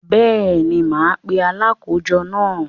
Bẹ́ẹ̀ni, mà á pe “ Alákòójọ” náà.